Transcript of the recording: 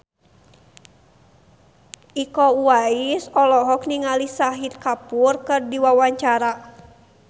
Iko Uwais olohok ningali Shahid Kapoor keur diwawancara